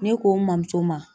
Ne ko n mɔmuso ma